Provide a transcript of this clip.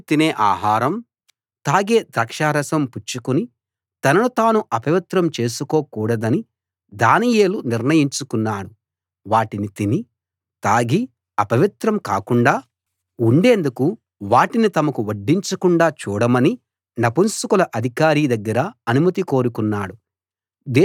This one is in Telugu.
రాజు తినే ఆహారం తాగే ద్రాక్షారసం పుచ్చుకుని తనను తాను అపవిత్రం చేసుకోకూడదని దానియేలు నిర్ణయించుకున్నాడు వాటిని తిని తాగి అపవిత్రం కాకుండా ఉండేందుకు వాటిని తమకు వడ్డించకుండా చూడమని నపుంసకుల అధికారి దగ్గర అనుమతి కోరుకున్నాడు